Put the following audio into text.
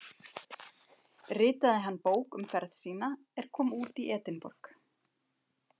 Ritaði hann bók um ferð sína er kom út í Edinborg